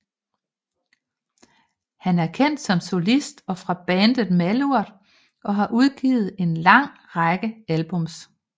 Han er kendt som solist og fra bandet Malurt og har udgivet en lang række albums